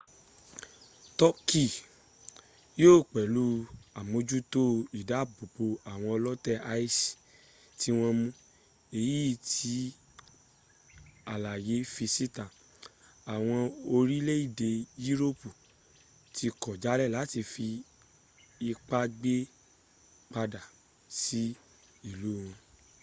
turkey yíò pẹ̀lú àmójútó ìdábòbò àwọn ọlótè isis tí wọ́n mú èyí tí àlàyé fi síta àwọn orílẹ̀-èdè yúróòpù tí kọ̀ jálè láti fi ipá gbé padà sí ìlú wọn